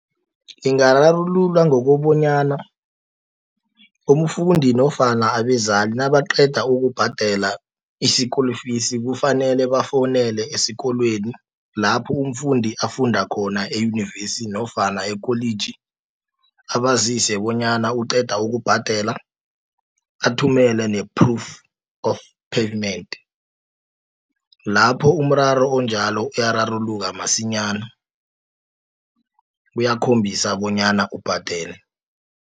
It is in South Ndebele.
Ingararululwa ngokobonyana umfundi, nofana abezali, nabaqeda ukubhadela i-school fees. Kufanele bafowunele esikolweni, lapho umfundi afunda khona, eYunivesi, nofana ekholiji, abazise bonyana uqeda ukubhadela, athumele ne-proof of payment. Lapho umraro onjalo uyararuluka masinyana, kuyakhombisa bonyana ubhadele.